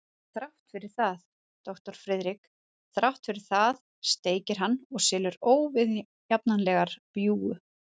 En þrátt fyrir það, doktor Friðrik, þrátt fyrir það steikir hann og selur óviðjafnanleg bjúgu.